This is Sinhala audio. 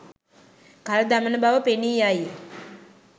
කල් දමන බව පෙනීයයි.